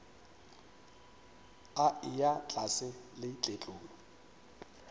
a eya tlase le tletlolo